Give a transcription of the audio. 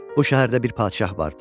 Bu şəhərdə bir padşah vardı.